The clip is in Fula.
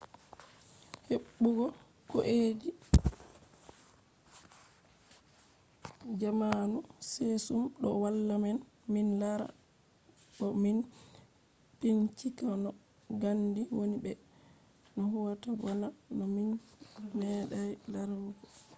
heɓɓugo kujeji zamanu kesum do walla men min lara bo min bincika no gandi woni be no huwata bana no min meeɗay larugo